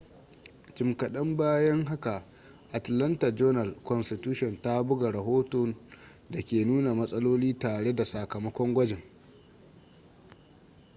jim kaɗan bayan haka atlanta journal-constitution ta buga rahoton da ke nuna matsaloli tare da sakamakon gwajin